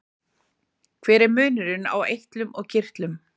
Hver er munurinn á eitlum og kirtlum?